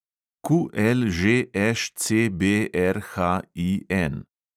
QLŽŠCBRHIN